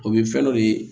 O bɛ fɛn dɔ de ye